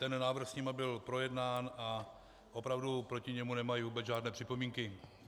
Ten návrh s nimi byl projednán a opravdu proti němu nemají vůbec žádné připomínky.